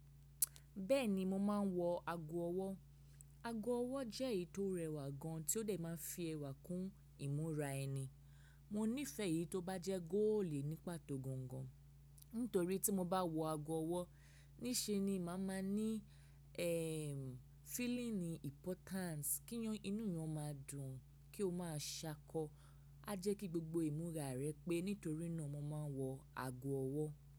Bẹ́ẹ̀ni mo máa ń wọ ago ọwọ́. Ago ọwọ́ jẹ́ èyí tó rẹwà gan tí ó dẹ̀ máa ń fi ẹwà kún ìmúra ẹni. Mo nífẹ̀ẹ́ èyí tó bá jẹ́ góòlì ní pàtó gangan, nítorí tí mo bá wọ ago ọwọ́ ní ṣe ni màá máa ní ẹ́ẹ̀m, feeling importance kí inú èèyàn máa dùn, kí o máa ṣakọ. A jẹ́ kí gbogbo ìmúra rẹ pé nítorí náà mo máa ń wọ ago ọwọ́.